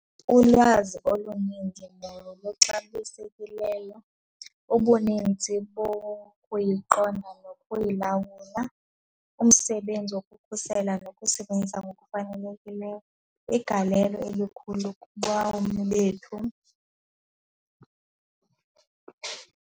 Ulwazi oluninzi noluxabisekileyo ubunintsi bokuyiqonda nokuyilawula, umsebenzi wokukhusela nokusebenzisa ngokufanelekileyo, igalelo elikhulu kubomi bethu.